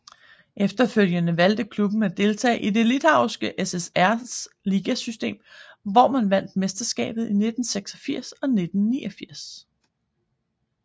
Efterfølgende valgte klubben at deltage i det Litauiske SSRs ligasystem hvor man vandt mesterskabet i 1986 og 1989